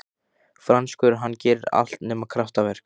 Franskur, hann gerir allt nema kraftaverk.